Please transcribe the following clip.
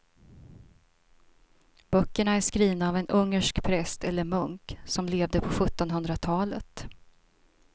Böckerna är skrivna av en ungersk präst eller munk som levde på sjuttonhundratalet.